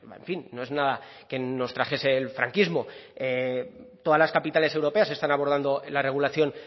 en fin no es nada que nos trajese el franquismo todas las capitales europeas están abordando la regulación